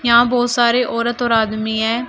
यहां बहुत सारे औरत और आदमी है।